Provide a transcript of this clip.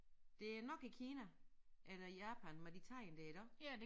Det er nok i Kina eller i Japan med de tegn dér iggå